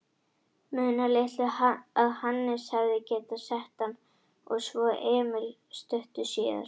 Munaði litlu að Hannes hefði getað sett hann og svo Emil stuttu síðar.